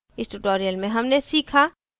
इस tutorial में हमने सीखा